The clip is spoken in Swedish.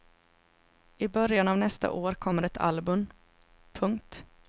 I början av nästa år kommer ett album. punkt